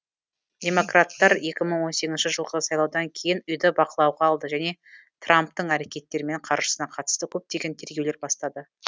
демократтар екі мың он сегізінші жылғы сайлаудан кейін үйді бақылауға алды және трамптың әрекеттері мен қаржысына қатысты көптеген тергеулер бастады